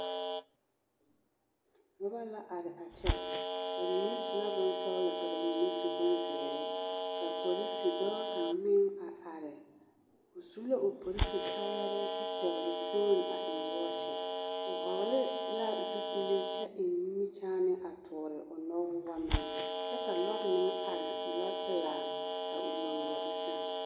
Noba la are a kyɛ, bamine su la bonsɔgelɔ ka bamine su bonzeere, ka polisi dɔɔ kaŋ meŋ a are, o su la o polisi kaayarɛɛ kyɛ pɛgele fooni a eŋ wɔɔkye, o hɔgele la zupili kyɛ eŋ nimikyaane a toɔle o nɔgbane kyɛ ka lɔre meŋ are, lɔpelaa a o lombori sɛŋ.